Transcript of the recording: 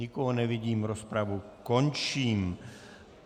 Nikoho nevidím, rozpravu končím.